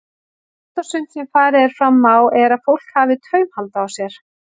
Allt og sumt sem farið er fram á er að fólk hafi taumhald á sér.